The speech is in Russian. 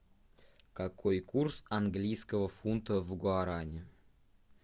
какой курс английского фунта в гуарани